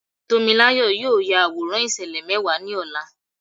Tómiláyọ̀ yóò ya àwòrán ìṣẹ̀lẹ̀ mẹ́wàá ní ọ̀la.